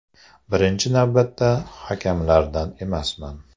Birinchi navbatda hakamlardan emasman.